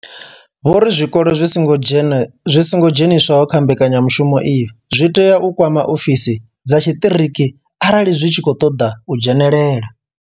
Vho ri zwikolo zwi songo dzheniswaho kha mbekanyamushumo iyi zwi tea u kwama ofisi dza tshiṱiriki arali zwi tshi khou ṱoḓa u dzhenelela.